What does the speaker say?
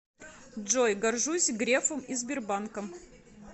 джой горжусь грефом и сбербанком